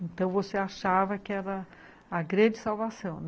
Então você achava que era a grande salvação né?